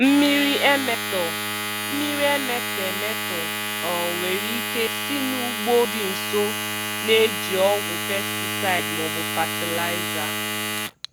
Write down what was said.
Mmiri emetọ Mmiri emetọ emetọ um nwere ike si n'ugbo dị nso na-eji ọgwụ pesticide ma ọ bụ fatịlaịza.